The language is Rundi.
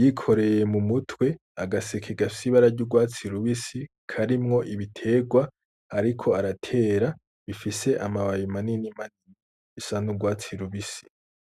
yikoreye mu mutwe agaseka gafise ibara ry'urwatsi rubisi karimwo ibiterwa, ariko aratera bifise amababi manini manini asa n'urwatsi rubisi.